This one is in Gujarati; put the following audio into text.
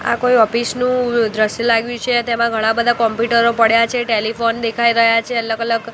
આ કોઈ ઓફિસ નું દ્રશ્ય લાગ્યું છે તેમાં ઘણા બધા કોમ્પ્યુટર પડ્યા છે ટેલીફોન દેખાય રહ્યા છે અલગ અલગ--